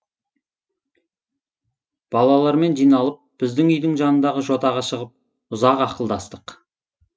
балалармен жиналып біздің үйдің жанындағы жотаға шығып ұзақ ақылдастық